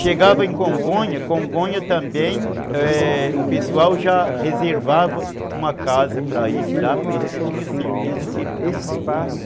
Chegava em Congonha, Congonha também, o pessoal já reservava uma casa para ele lá, porque tinha certeza que ele não faltava.